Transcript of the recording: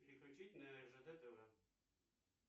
переключить на ржд тв